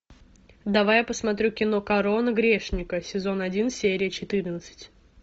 давай я посмотрю кино корона грешника сезон один серия четырнадцать